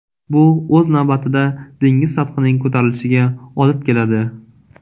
Bu o‘z navbatida dengiz sathining ko‘tarilishiga olib keladi.